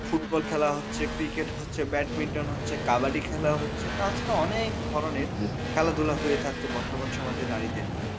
football খেলা হচ্ছে, cricket হচ্ছে, badminton হচ্ছে, কাবাডি খেলা হচ্ছে তাছাড়াও অনেক ধরনের খেলা ধুলা হয়ে থাকছে বর্তমান সমাজে নারীদের।